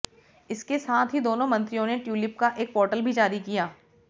इसके साथ ही दोनों मंत्रियों ने ट्यूलिप का एक पोर्टल भी जारी किया